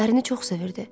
Ərini çox sevirdi.